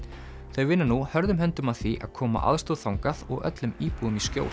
þau vinna nú hörðum höndum að því að koma aðstoð þangað og öllum íbúum í skjól